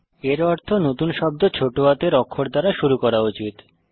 এর অর্থ নতুন শব্দ ছোট হাতের অক্ষর দ্বারা শুরু করা উচিত